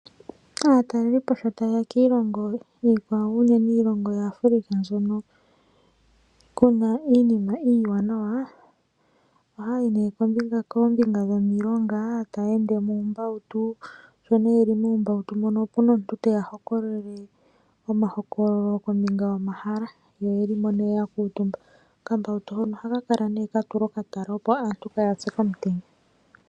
Aatalelipo shotaueya kiilongo iikwawo uunene iilongo yAfrika mbyono kuna iinima iiwanawana ohaayi nee kombinga yomilonga taa ende muumbautu sho nee yeli muumbautu ngawo opena omuntu teya hokololele kombinga yomahala yo oyeli mo nee ya kuutumba okambautu hono ohakala kala nee ka tulwa okatala opo aantu kaa ya pye komutenya.